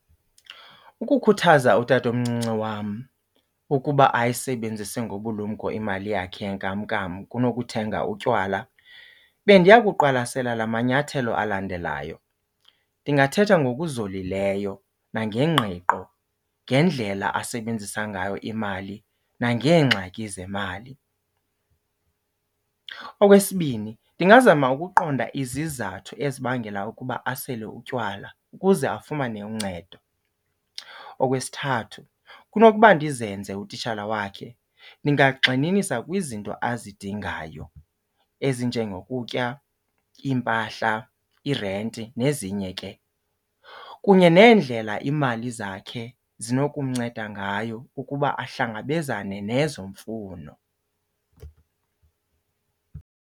Ukukhuthaza utata omncinci wam ukuba ayisebenzise ngobulumko imali yakhe yenkamnkam kunokuthenga utywala bendiya kuqwalasela la manyathelo alandelayo. Ndingathetha ngokuzolileyo nangengqiqo ngendlela asebenzisa ngayo imali nangeengxaki zemali. Okwesibini ndingazama ukuqonda izizathu ezibangela ukuba asele utywala ukuze afumane uncedo. Okwesithathu kunokuba ndizenze utitshala wakhe, ndingagxininisa kwizinto azidingayo ezinjengokutya, iimpahla, irenti nezinye ke, kunye neendlela iimali zakhe zinokumnceda ngayo ukuba ahlangabezane nezo mfuno.